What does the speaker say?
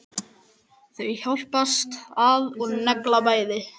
Þau hjálpast að og negla bæði.